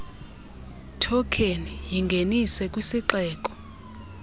thokheni yingenise kwisixeko